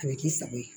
A bɛ k'i sago ye